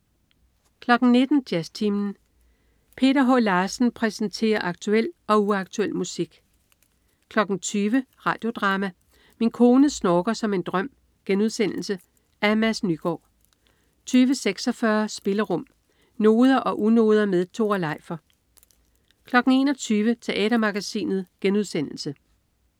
19.00 Jazztimen. Peter H. Larsen præsenterer aktuel og uaktuel musik 20.00 Radio Drama: Min kone snorker som en drøm.* Af Mads Nygaard 20.46 Spillerum. Noder og unoder med Tore Leifer 21.00 Teatermagasinet*